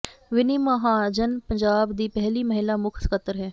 ਵਿੰਨੀ ਮਹਾਜਨ ਪੰਜਾਬ ਦੀ ਪਹਿਲੀ ਮਹਿਲਾ ਮੁੱਖ ਸਕੱਤਰ ਹੈ